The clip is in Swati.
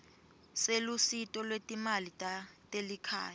selusito lwetimali telikhaya